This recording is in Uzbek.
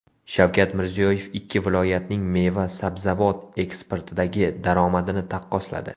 Shavkat Mirziyoyev ikki viloyatning meva-sabzavot eksportidagi daromadini taqqosladi.